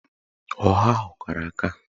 Ọha ahụ kara aka